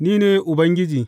Ni ne Ubangiji.